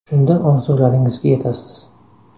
Shunda orzularingizga yetasiz.